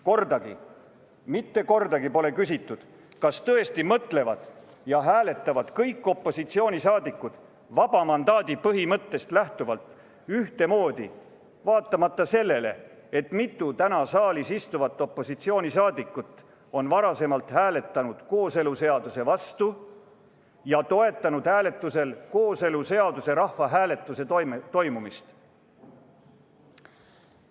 Kordagi, mitte kordagi pole küsitud, kas tõesti mõtlevad ja hääletavad kõik opositsiooni liikmed vaba mandaadi põhimõttest lähtuvalt ühtemoodi, vaatamata sellele, et mitu täna saalis istuvat opositsiooni liiget on varem hääletanud kooseluseaduse vastu ja toetanud hääletusel kooseluseaduse rahvahääletuse toimumist.